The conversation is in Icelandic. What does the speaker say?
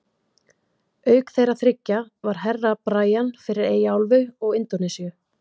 Auk þeirra þriggja var Herra Brian, fyrir Eyjaálfu og Indónesíu.